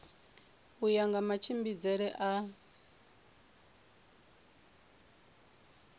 u ya nga matshimbidzele a